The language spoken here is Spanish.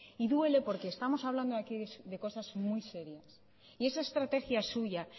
y duele porque estamos hablando aquí de cosas muy serias y esa estrategia suya